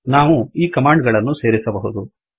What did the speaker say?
ನಾವು ಈ ಕಮಾಂಡ್ ಗಳನ್ನು ಸೇರಿಸಬಹುದು